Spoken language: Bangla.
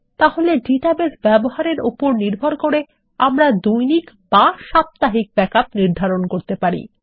তাহলে ডাটাবেস ব্যবহারের উপর নির্ভর করে আমরা দৈনিক বা সাপ্তাহিক ব্যাকআপ নির্ধারণ করতে পারি